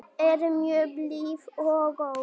Er mjög blíð og góð.